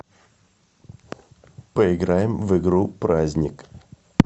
поиграем в игру праздник